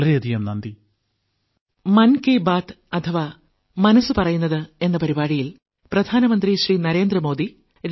വളരെയധികം നന്ദി